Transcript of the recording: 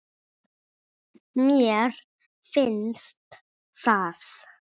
Mér finnst það.